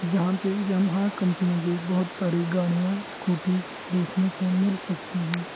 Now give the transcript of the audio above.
यहां पे Yamaha company की बहोत सारी गाड़ियां स्कूटीज देखने को मिल सकती हैं।